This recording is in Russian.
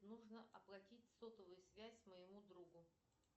нужно оплатить сотовую связь моему другу